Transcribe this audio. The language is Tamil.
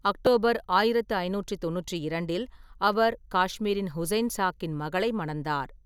அக்டோபர் 1592 இல், அவர் காஷ்மீரின் ஹுசைன் சாக்கின் மகளை மணந்தார்.